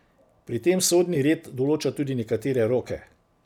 Pri tem sodni red določa tudi nekatere roke.